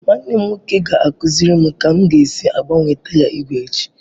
Nwanne m nwoke ga-akụziri m ka m ga-esi gbanwee taya igwe echi.